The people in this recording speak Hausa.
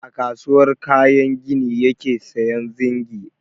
A kasuwar kayan gini yake sayan zingi.